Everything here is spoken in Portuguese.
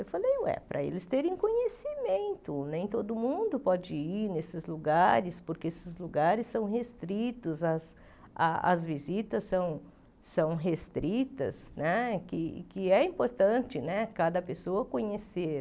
Eu falei, ué, para eles terem conhecimento, nem todo mundo pode ir nesses lugares, porque esses lugares são restritos, as as visitas são restritas né, que é importante cada pessoa conhecer.